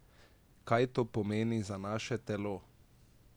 Kaj to pomeni za naše telo?